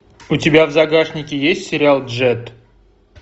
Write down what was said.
у тебя в загашнике есть сериал джетт